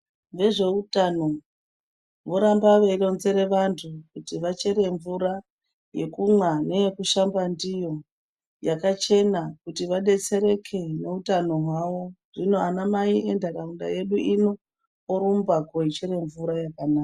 Vezveutano voramba veironzera vantu kuti vachere mvura yekumwa neyekushamba ndiyo yakachena kuti vadetsereke neutano hwavo. Zvino ana mai ndaramo yedu ino orumba kochere mvura yakanaka.